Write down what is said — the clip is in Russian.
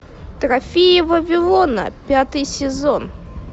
трофеи вавилона пятый сезон